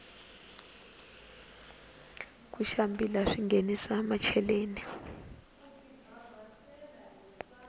ku xambila swinghenisa macheleni